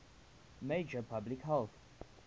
major public health